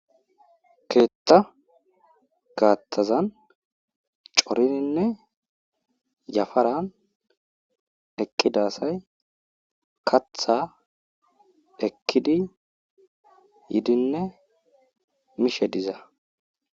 Keeta gatazan coridinne yafaran eqida asay katha ekidi yidinne mishe diza.